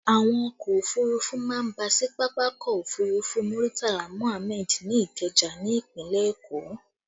Àwọn ọkọ òfurufú má ń bà sí pápákọ̀ òfurufú Muritala Muhammad ní Ikeja ni ìpínlẹ̀ Èkó